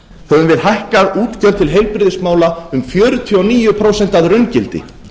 höfum við hækkað útgjöld til heilbrigðismála um fjörutíu og níu prósent að raungildi